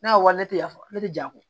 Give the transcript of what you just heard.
Ne ka wari tɛ yafa ne tɛ jaa ko